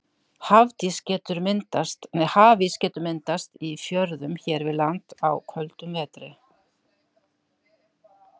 Hafís getur myndast í fjörðum hér við land á köldum vetri.